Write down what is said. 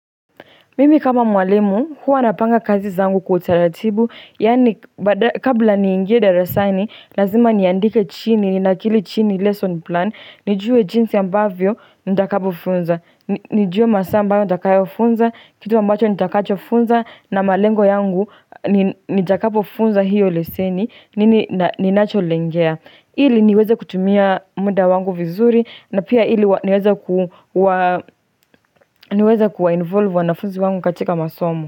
Mimi kama mwalimu, huwa napanga kazi zangu kwa utaratibu, yaani kabla niingie darasani, lazima niandike chini, ni nakili chini lesson plan, nijue jinsi ambavyo, nitakapo funza, nijue masaa ambayo nitakayo funza, kitu ambacho nitakacho funza, na malengo yangu nitakapo funza hiyo leseni, nini ninacho lengea. Ili niweza kutumia muda wangu vizuri na pia ili niweza kuwa involve wanafuzi wangu katika masomu.